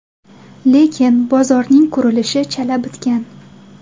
Lekin, bozorning qurilishi chala bitgan.